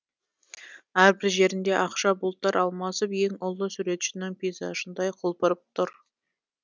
әрбір жерінде ақша бұлттар алмасып ең ұлы суретшінің пейзажындай құлпырып тұр